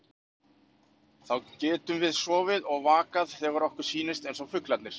Þá getum við sofið og vakað þegar okkur sýnist, eins og fuglarnir.